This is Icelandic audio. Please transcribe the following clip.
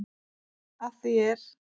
Að því er